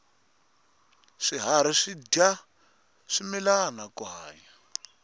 swiharhi swidya swimilana ku hanya